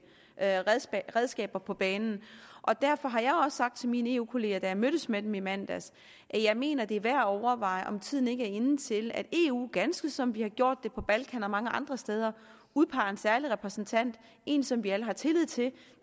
redskaber på banen derfor har jeg også sagt til mine eu kolleger da jeg mødtes med dem i mandags at jeg mener at det er værd at overveje om tiden ikke er inde til at eu ganske som vi har gjort det på balkan og mange andre steder udpeger en særlig repræsentant en som vi alle har tillid til